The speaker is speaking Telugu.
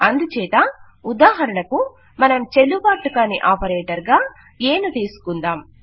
అందుచేత ఉదాహరణకు మనం చెల్లుబాటు కాని ఆపరేటర్ గా ఎ ను తీసుకుందాం